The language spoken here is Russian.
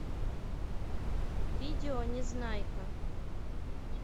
видео незнайка